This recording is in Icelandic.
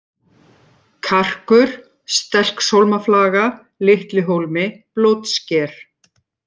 Karkur, Stelkshólmaflaga, Litli-Hólmi, Blótsker